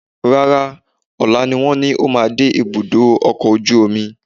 Rárá, ọ̀la ni wọ́n ní ó máa dé ibùdó ọkọ̀ ojú omi